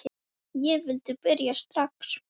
Ég vildi byrja strax.